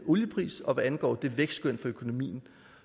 olieprisen og hvad angår vækstskønnet for økonomien